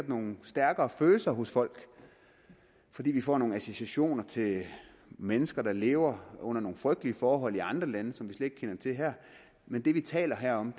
nogle stærkere følelser hos folk fordi de får nogle associationer til mennesker der lever under nogle frygtelige forhold i andre lande som vi ikke kender til her men det vi taler om